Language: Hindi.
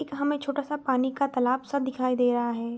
एक हमें छोटा-सा पानी का तालाब-सा दिखाई दे रहा है।